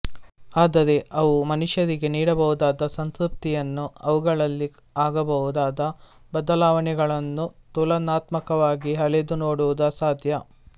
ಆದರೆ ಅವು ಮನುಷ್ಯರಿಗೆ ನೀಡಬಹುದಾದ ಸಂತೃಪ್ತಿಯನ್ನೂ ಅವುಗಳಲ್ಲಿ ಆಗಬಹುದಾದ ಬದಲಾವಣೆಗಳನ್ನೂ ತುಲನಾತ್ಮಕವಾಗಿ ಅಳೆದು ನೋಡುವುದು ಅಸಾಧ್ಯ